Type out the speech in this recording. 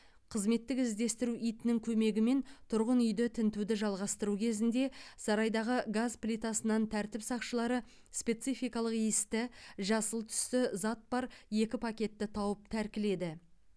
қызметтік іздестіру итінің көмегімен тұрғын үйді тінтуді жалғастыру кезінде сарайдағы газ плитасынан тәртіп сақшылары спецификалық иісті жасыл түсті зат бар екі пакетті тауып тәркіледі